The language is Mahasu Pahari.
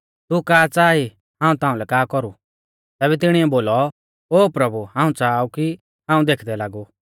तू का च़ाहा ई हाऊं ताउंलै का कौरु तैबै तिणीऐ बोलौ ओ प्रभु हाऊं च़ाहा ऊ की हाऊं देखदै लागु